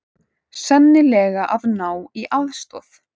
Sennilega að ná í aðstoð.